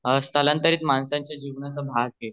स्तलांतरित माणसाच्या जीवनाचा भाग आहे